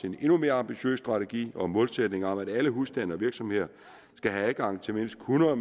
en endnu mere ambitiøs strategi og målsætning om at alle husstande og virksomheder skal have adgang til mindst hundrede